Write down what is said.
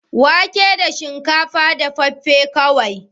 Wake da shinkafa da dafaffen ƙwai.